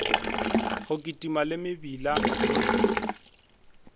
go kitima le mebila le